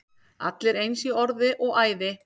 Allir eins í orði og æði.